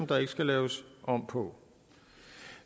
der ikke skal laves om på